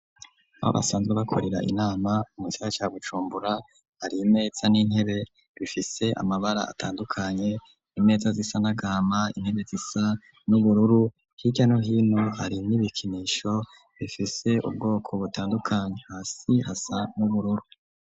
Babasanzwe bakorera inama mugisagara ca bujumbura hari imeza n'intebe bifise amabara atandukanye , imeza zisa n' agahama , intebe zisa n'ubururu hirya no hino hari n'ibikinisho bifise ubwoko butandukanye hasi hasa n'ubururu.